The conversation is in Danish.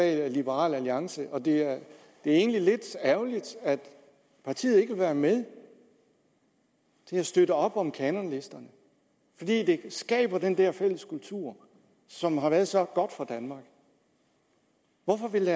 liberal alliance og det er egentlig lidt ærgerligt at partiet ikke vil være med til at støtte op om kanonlisterne fordi de skaber den der fælles kultur som har været så godt for danmark hvorfor vil